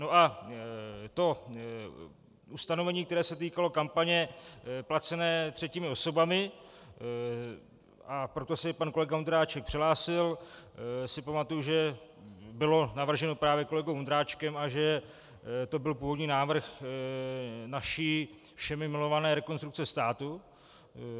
No a to ustanovení, které se týkalo kampaně placené třetími osobami, a proto se pan kolega Vondráček přihlásil, si pamatuju, že bylo navrženo právě kolegou Vondráčkem a že to byl původní návrh naší všemi milované Rekonstrukce státu.